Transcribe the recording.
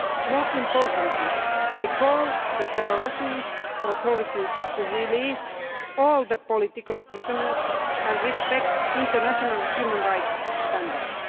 More importantly, I call on the Belarusian authorities to release all political prisoners and respect international human rights standards.